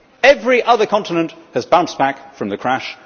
Every other continent has bounced back from the crash.